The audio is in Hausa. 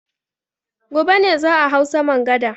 Gobe ne za a hau saman gada.